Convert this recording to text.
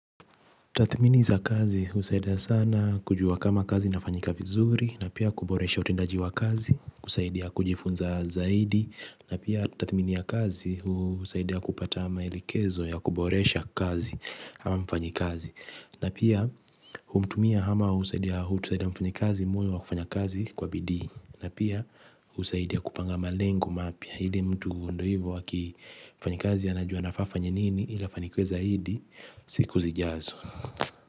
Tathmini za kazi husaidia sana kujua kama kazi inafanyika vizuri na pia kuboresha utendaji wa kazi kusaidia kujifunza zaidi na pia tathmini ya kazi husaidia kupata maelekezo ya kuboresha kazi kama mfanyi kazi na pia humtumia ama husaidia husaidia mfanyi kazi moyo wa kufanya kazi kwa bidii na pia husaidia kupanga malengo mapya ili mtu ndo hivyo aki mfanyi kazi anajua anafaa afanye nini ili afanikiwe zaidi siku zijazo. Kwa hivyo.